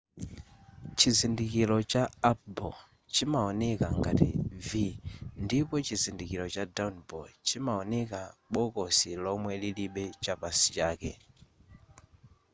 chizindikiro cha up bow chimaoneka ngati v ndipo chizindikiro cha down bow chimaoneka bokosi lomwe lilibe chapansi chake